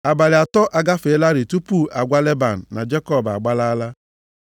Abalị atọ agafeelarị tupu a gwa Leban na Jekọb agbalaala.